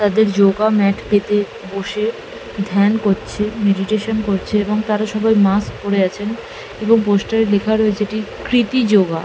তাদের yoga mat পেতে বসে ধ্যান করছে মেডিটেশন করছে এবং তারা সবাই মাস্ক পরে আছেন এবং পোস্টার এ লেখা রয়েছে এটি কৃতি যোগা।